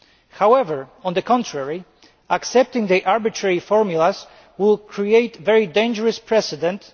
However, on the contrary, accepting arbitrary formulas would create a very dangerous precedent.